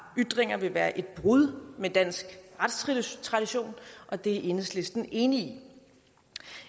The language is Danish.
ytringer vil være et brud med dansk retstradition og det er enhedslisten enig